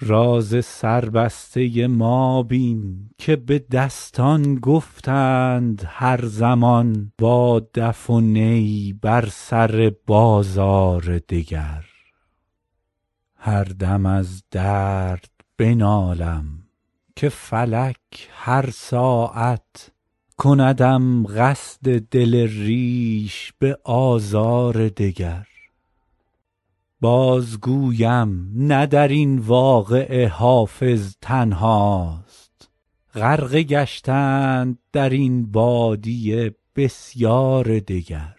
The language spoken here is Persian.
راز سربسته ما بین که به دستان گفتند هر زمان با دف و نی بر سر بازار دگر هر دم از درد بنالم که فلک هر ساعت کندم قصد دل ریش به آزار دگر بازگویم نه در این واقعه حافظ تنهاست غرقه گشتند در این بادیه بسیار دگر